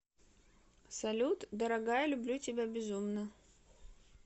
салют дорогая люблю тебя безумно